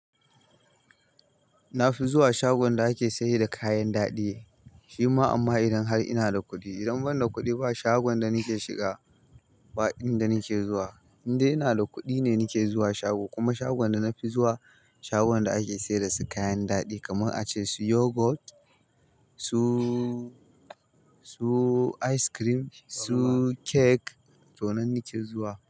Na fi zuwa shagon da ake sayar da kayan daɗi shi ma amma idan har ina da kuɗi. Idan ban da kuɗi ba shagon da nake shiga ba in (wurin) da nake zuwa. Indai ina da kuɗi ne nake zuwa shago kuma shagon da na fi zuwa shagon da ake sayar da su kayan daɗi kamar a ce su yogurt, su su ice cream, su cake to nan nake zuwa.